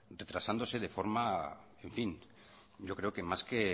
retrasándose de forma en fin yo creo que más que